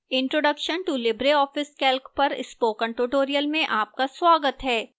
introduction to libreoffice calc पर spoken tutorial में आपका स्वागत है